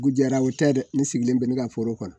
Dugu jɛra o tɛ dɛ ne sigilen bɛ ne ka foro kɔnɔ